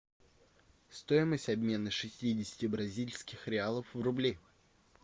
стоимость обмена шестидесяти бразильских реалов в рубли